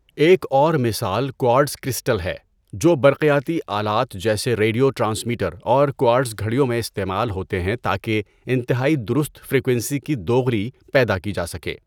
ایک اور مثال کوارٹز کرسٹل ہے جو برقیاتی آلات جیسے ریڈیو ٹرانسمیٹر اور کوارٹز گھڑیوں میں استعمال ہوتے ہیں تاکہ انتہائی درست فریکوئنسی کی دوغلی پیدا کی جا سکے۔